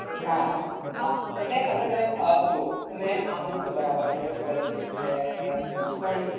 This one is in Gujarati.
હા હા એટલે હવે તમે જુઓ આ બધું તો બરાબર છે scholarship છે કે પણ